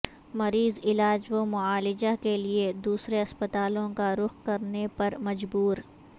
مریض علاج و معالجہ کیلئے دوسرے اسپتالوں کا رخ کرنے پر مجبور